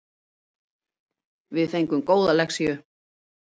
Við fengum góða lexíu